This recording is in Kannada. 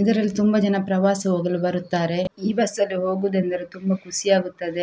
ಇದರಲ್ಲಿ ತುಂಬ ಜನ ಪ್ರವಾಸ ಹೋಗಲು ಬರುತ್ತಾರೆ. ಈ ಬಸ್‌ ಅಲ್ಲಿ ಹೋಗುವುದೆಂದರೆ ತುಂಬ ಕುಸಿ ಆಗುತ್ತದೆ.